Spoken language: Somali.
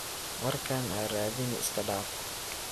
Warkan aaradini iskadaaf.